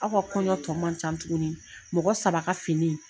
Aw ka kɔɲɔ tɔ man can tuguni mɔgɔ saba ka fini.